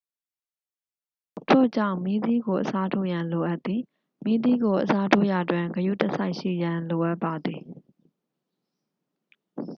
ထို့ကြောင့် မီးသီးကို အစားထိုးရန် လိုအပ်သည် မီးသီးကို အစားထိုးရာတွင် ဂရုတစိုက်ရှိရန် လိုအပ်ပါသည်